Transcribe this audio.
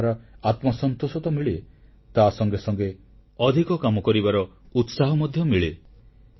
ଏହାଦ୍ୱାରା ଆତ୍ମସନ୍ତୋଷ ତ ମିଳେ ତାସଙ୍ଗେ ସଙ୍ଗେ ଅଧିକ କାମ କରିବାର ଉତ୍ସାହ ମଧ୍ୟ ମିଳେ